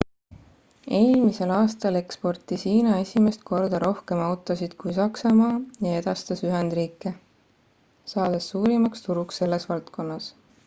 eelmisel aastal eksportis hiina esimest korda rohkem autosid kui saksamaa ja edastas ühendriike saades suurimaks turuks selles valdkonnas